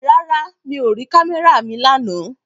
Rárá, mi ò rí kámẹ́rà mi lánàá